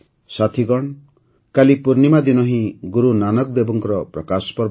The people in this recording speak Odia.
ସାଥିଗଣ କାଲି ପୂର୍ଣ୍ଣିମା ଦିନ ହିଁ ଗୁରୁନାନକ ଦେବଙ୍କର ପ୍ରକାଶ ପର୍ବ